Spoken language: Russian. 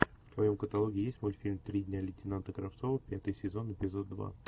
в твоем каталоге есть мультфильм три дня лейтенанта кравцова пятый сезон эпизод два